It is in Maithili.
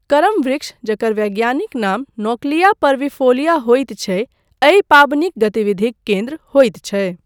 करम वृक्ष, जकर वैज्ञानिक नाम नोक्लिया परविफोलिया होइत छै, एहि पाबनिक गतिविधिक केन्द्र होइत छै।